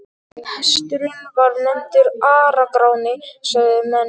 Hesturinn var nefndur Ara-Gráni, sögðu menn.